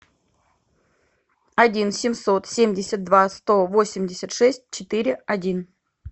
один семьсот семьдесят два сто восемьдесят шесть четыре один